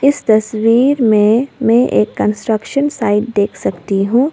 इस तस्वीर में मैं एक कंस्ट्रक्शन साइट देख सकती हूं।